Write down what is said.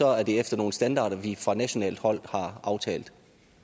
er det efter nogle standarder vi fra nationalt hold har aftalt